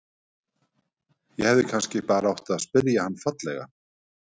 Ég hefði kannski bara átt að spyrja hann fallega?